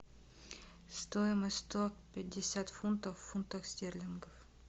стоимость сто пятьдесят фунтов в фунтах стерлингов